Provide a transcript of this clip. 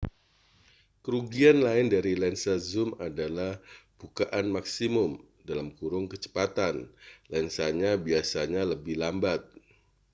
kerugian lain dari lensa zum adalah bukaan maksimum kecepatan lensanya biasanya lebih lambat